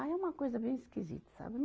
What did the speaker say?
Ah, é uma coisa bem esquisita, sabe?